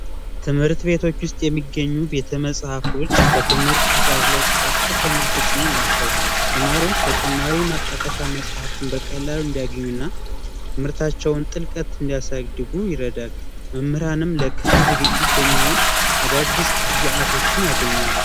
ትምህርት ቤቶች ውስጥ የሚገኙ ቤተመጽሐፍቶች በትምህርት ጥራት ላይ ቀጥተኛ ተጽኖ አላቸው ተማሪዎች ተጨማሪ መጠቀሻ መጽሐፍትን በቀላሉና ትምህርታቸውን ጥልቀት እንዲያሳድጉ ይረዳል መምህራንም ለክፍል ዝግጅት የሚሆን አዳዲስ ግብዓቶችን ያገኛሉ